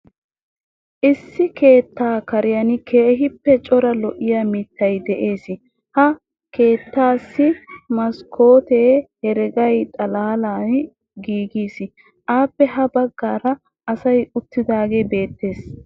Issi keettaa karen keehippe cora lo'iya mittay de'ees. Ha keettaasi maskkootee herega xalaalan giigiis. Appe ha baggaara asay uttidaagee beettees.